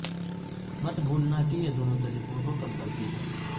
مت بھولنا کہ یہ دونوں طریقوں کو کم کرتی ہے